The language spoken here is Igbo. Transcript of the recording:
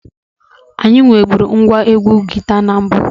Anyị nweburu ngwa egwu guita na mbụ.